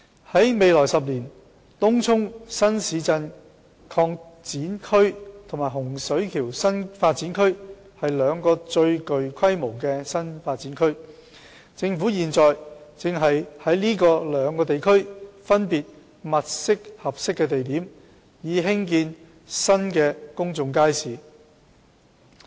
在未來10年，東涌新市鎮擴展區及洪水橋新發展區是兩個最具規模的新發展區，政府現正在這兩個地區分別物色合適的地點，以興建新公眾街市。